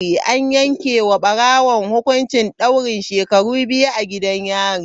An yanke wa barawon hukuncin daurin shekaru biyu a gidan yari.